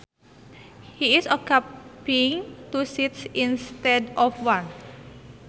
He is occupying two seats instead of one